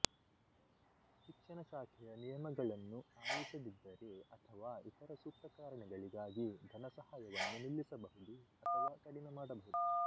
ಶಿಕ್ಷಣ ಶಾಖೆಯ ನಿಯಮಗಳನ್ನು ಆಲಿಸದಿದ್ದರೆ ಅಥವಾ ಇತರ ಸೂಕ್ತ ಕಾರಣಗಳಿಗಾಗಿ ಧನಸಹಾಯವನ್ನು ನಿಲ್ಲಿಸಬಹುದು ಅಥವಾ ಕಡಿಮೆ ಮಾಡಬಹುದು